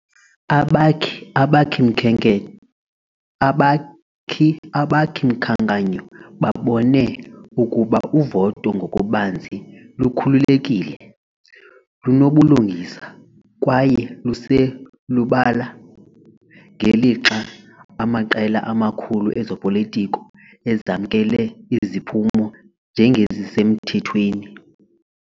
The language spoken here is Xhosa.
Abakhi-Abakhi-mkhanyo babone ukuba uvoto ngokubanzi lukhululekile, lunobulungisa, kwaye luselubala ngelixa amaqela amakhulu ezopolitiko ezamkela iziphumo njengezisemthethweni.